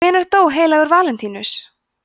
hvenær dó heilagur valentínus